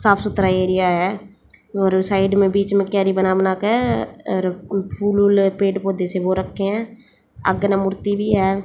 साफ सुथरा एरिया है और साइड में बीच में कियारी बना बना के फूल वूल पेड़ पौधे से हो रखे हैं आगे में मूर्ति भी है।